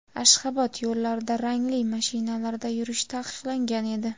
Ashxobod yo‘llarida rangli mashinalarda yurish taqiqlangan edi.